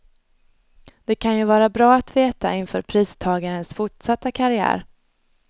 Det kan ju vara bra att veta inför pristagarens fortsatta karriär.